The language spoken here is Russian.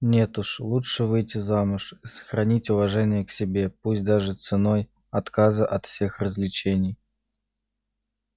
нет лучше уж выйти замуж и сохранить уважение к себе пусть даже ценой отказа от всех развлечений